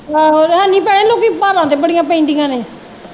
ਆਹੋ ਤੇ ਹੈਨੀ ਭੈਣਾਂ ਲੋਕੀ ਭਾਰਾ ਤੇ ਬੜੀਆਂ ਪੈਂਦੀਆਂ ਨੇ